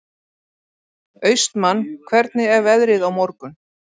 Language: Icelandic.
Austmann, hvernig er veðrið á morgun?